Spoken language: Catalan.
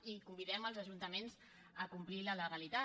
i convidem els ajuntaments a complir la legalitat